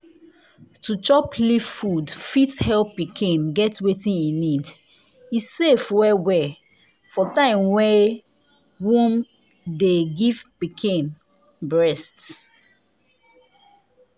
to chop leaf food fit help pikin get wetin e need. e safe well-well for time wey womn de give pikin breast.